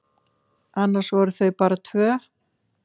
Annars voru þau bara tvö.